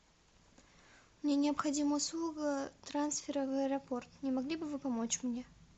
мне необходима услуга трансфера в аэропорт не могли бы вы помочь мне